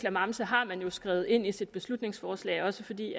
klamamse har man skrevet ind i sit beslutningsforslag også fordi